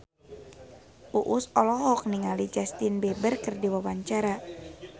Uus olohok ningali Justin Beiber keur diwawancara